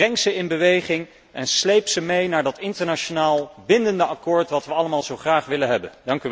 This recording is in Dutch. Breng ze in beweging en sleep ze mee naar dat internationaal bindende akkoord dat wij allemaal zo graag willen hebben.